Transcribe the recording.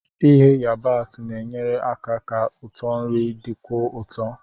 Ighe yabaasi na-enyere aka ka ụtọ nri dịkwuo ụtọ.